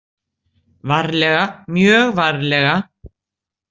Varlega, mjög varlega.